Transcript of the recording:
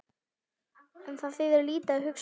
En það þýðir lítið að hugsa um það.